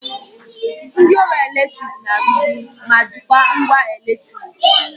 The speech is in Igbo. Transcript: Ndị ọrụ eletrik na-arụzi ma jikwaa ngwa eletriki